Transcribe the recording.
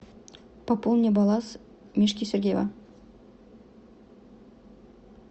пополни баланс мишки сергеева